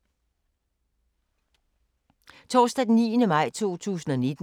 Torsdag d. 9. maj 2019